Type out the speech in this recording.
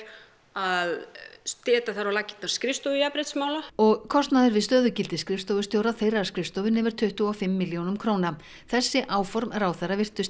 að setja þar á laggirnar skrifstofu jafnréttismála og kostnaður við stöðugildi skrifstofustjóra þeirrar skrifstofu nemur tuttugu og fimm milljónum króna þessi áform ráðherra virtust